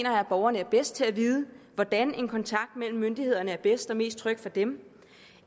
at borgerne er bedst til at vide hvordan en kontakt med myndighederne er bedst og mest tryg for dem